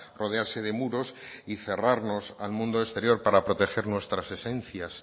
rodearse de muros y cerrarnos al mundo exterior para proteger nuestras esencias